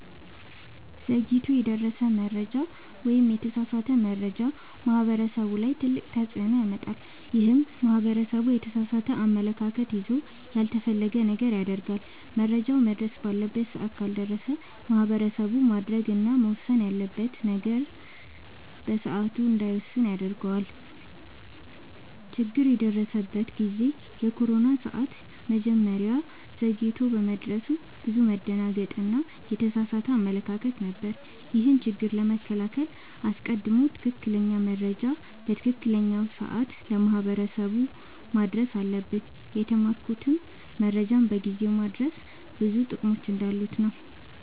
ዘግይቶ የደረሰ መረጃ ወይም የተሳሳተ መረጃ ማህበረሰቡ ላይ ትልቅ ተፅዕኖ ያመጣል። ይህም ማህበረሰቡ የተሳሳተ አመለካከት ይዞ ያልተፈለገ ነገር ያደርጋል። መረጃውም መድረስ ባለበት ሰዓት ካልደረሰ ማህበረሰቡ ማድረግ እና መወሰን ያለበትን ነገር በሰዓቱ እንዳይወስን ያደርገዋል። ችግር የደረሰበት ጊዜ የኮሮና ሰዓት መረጃው ዘግይቶ በመድረሱ ብዙ መደናገጥ እና የተሳሳተ አመለካከት ነበር። ይህንንም ችግር ለመከላከል አስቀድሞ ትክክለኛ መረጃ በትክክለኛው ሰዓት ለማህበረሰቡ ማድረስ ነበረብን። የተማርኩትም መረጃን በጊዜው ማድረስ ብዙ ጥቅሞች እንዳሉት ነወ።